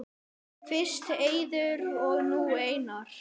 Fyrst Eiður og nú Einar??